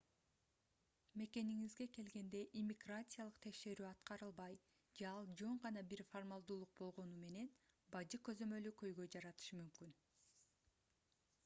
мекениңизге келгенде иммиграциялык текшерүү аткарылбай же ал жөн гана бир формалдуулук болгону менен бажы көзөмөлү көйгөй жаратышы мүмкүн